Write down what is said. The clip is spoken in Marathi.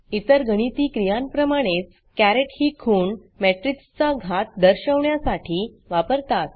इतर गणिती क्रियांप्रमाणेच caretकेरेट ही खूण matrixमेट्रिक्स चा घात दर्शवण्यासाठी वापरतात